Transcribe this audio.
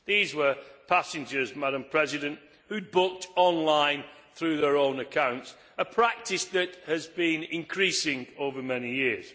These were passengers who had booked online through their own accounts, a practice that has been increasing over many years.